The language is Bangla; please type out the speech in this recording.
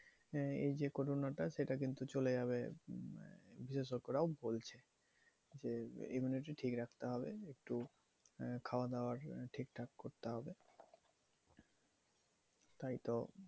হ্যাঁ এই যে corona টা সেটা কিন্তু চলে যাবে উম বিশেষজ্ঞরাও বলছে যে, immunity ঠিক রাখতে হবে। একটু আহ খাওয়া দেওয়ার ঠিকঠাক করতে হবে। তাইতো